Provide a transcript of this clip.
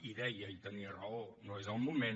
i deia i tenia raó no és el moment